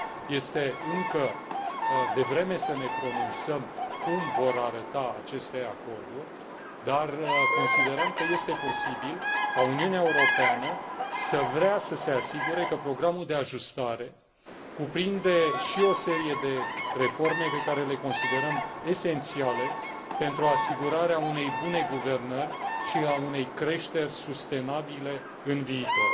Este încă devreme să ne pronunțăm cum vor arăta aceste acorduri, dar considerăm că este posibil ca Uniunea Europeană să vrea să se asigure că programul de ajustare cuprinde și o serie de reforme pe care le considerăm esențiale pentru asigurarea unei bunei guvernări și a unei creșteri sustenabile în viitor.